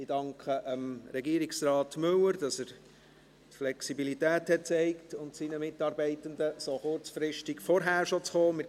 Ich danke Regierungsrat Müller und seinen Mitarbeitenden, dass sie die Flexibilität gezeigt haben, so kurzfristig vorher schon zu kommen.